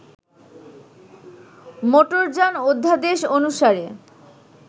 মোটরযান অধ্যাদেশ অনুসারে